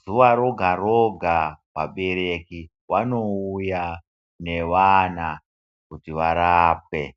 Zuva roga roga, vabereki vanouya newana kuti varape.